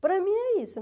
Para mim é isso.